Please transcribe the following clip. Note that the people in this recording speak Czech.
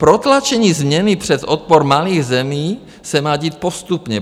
Protlačení změny přes odpor malých zemí se má dít postupně.